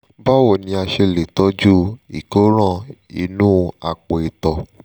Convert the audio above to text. báwo ni a ṣe lè tọ́jú ìkóràn inú àpò ìtọ̀